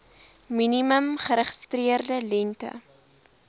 minimum geregistreerde lengte